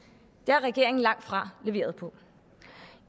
det har regeringen langtfra leveret på